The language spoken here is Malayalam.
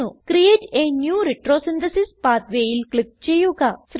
ക്രിയേറ്റ് a ന്യൂ റെട്രോസിന്തസിസ് pathwayൽ ക്ലിക്ക് ചെയ്യുക